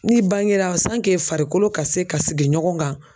N'i bangera farikolo ka se ka sigi ɲɔgɔn kan